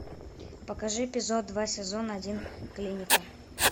покажи эпизод два сезон один клиника